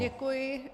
Děkuji.